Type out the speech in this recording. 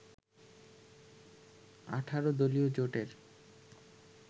১৮ দলীয় জোটের